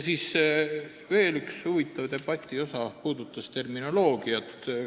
Debati üks huvitav osa puudutas veel terminoloogiat.